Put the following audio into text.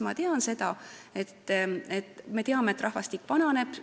Me teame, et rahvastik vananeb.